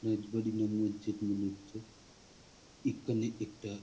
রাজবাড়ি বা মসজিদ মনে হচ্ছে এখানে একটা |